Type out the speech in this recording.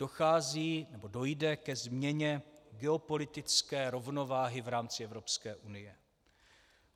Dochází nebo dojde ke změně geopolitické rovnováhy v rámci Evropské unie.